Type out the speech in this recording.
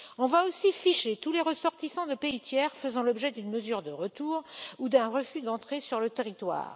On va aussi ficher tous les ressortissants de pays tiers faisant l'objet d'une mesure de retour ou d'un refus d'entrée sur le territoire.